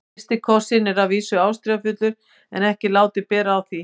FYRSTI KOSSINN er að vísu ástríðufullur en ekki látið bera á því.